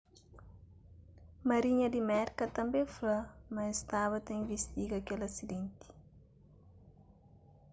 marinha di merka tanbê fla ma es staba ta invistiga kel asidenti